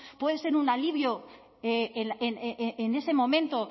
puede ser un alivio en ese momento